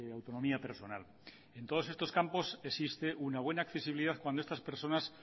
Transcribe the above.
autonomía personal en todos estos campos existe una buena accesibilidad cuando estas personas